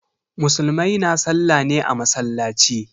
Musulmai na sallah ne a masallaci.